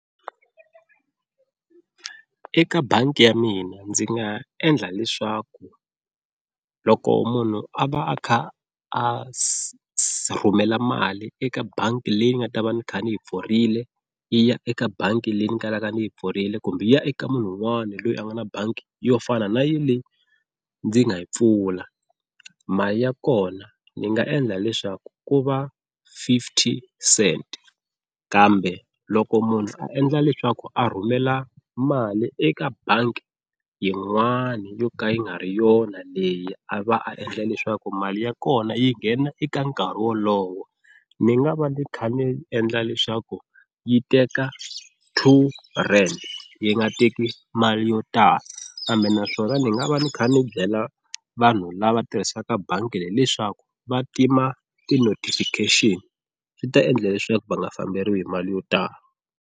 Eka bangi ya mina ndzi nga endla leswaku loko munhu a va a kha a rhumela mali eka bangi leyi nga ta va ni kha ni yi pfurile yi ya eka bangi leyi ni kalaka ni yi pfurile kumbe yi ya eka munhu un'wana loyi a nga na bangi yo fana na ya leyi ndzi nga yi pfula, mali ya kona ni nga endla leswaku ku va fifty cent kambe loko munhu a endla leswaku a rhumela mali eka bangi yin'wani yo ka yi nga ri yona leyi a va a endla leswaku mali ya kona yi nghena eka nkarhi wolowo, ni nga va ni kha ni endla leswaku yi teka two rand yi nga teki mali yo tala kambe naswona ni nga va ni kha ni byela vanhu lava tirhisaka bangi leyi leswaku va tima ti-notification swi ta endla leswaku va nga famberiwi hi mali yo tala.